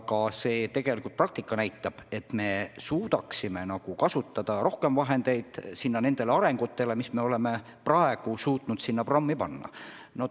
Ja tegelikult praktika näitab, et me suudaksime nende arengute huvides kasutada rohkem vahendeid, kui me oleme suutnud selle programmi jaoks eraldada.